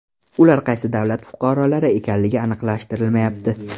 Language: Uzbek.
Ular qaysi davlat fuqarolari ekanligi aniqlashtirilmayapti.